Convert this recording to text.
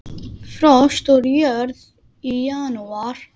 Frost úr jörð í janúar.